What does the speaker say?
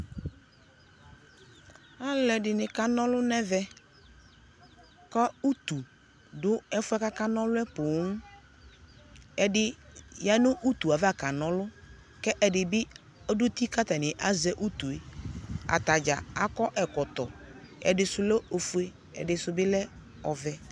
Alʋɛdini kana ɔlʋ nɛ vɛ kʋ utu dʋ ɛfuɛ kakana ɔlʋ yɛ pooo Ɛdi ya nʋ utu yɛ ava kana ɔlʋ kʋ ɛdi bi dʋ uti katani azɛ utu yɛ Atadza akɔ ɛkɔtɔ, ɛdisu lɛ ofue, ɛdisʋ bi lɛ ɔvɛ